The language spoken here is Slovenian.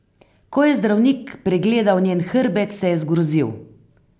Ko je zdravnik pregledal njen hrbet, se je zgrozil.